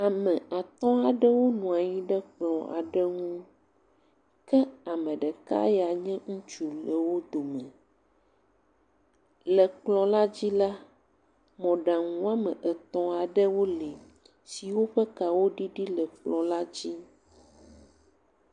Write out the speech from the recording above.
Ame atɔ̃ aɖewo nɔ anyi ɖe klpɔ aɖe ŋu ke ame ɖeka ya nye ŋutsu le wo dome, le kpɔ la dzi la, mɔɖaŋu woame etɔ̃ aɖewo li siwo ƒe kawo ɖuɖu le kplɔ la dzi.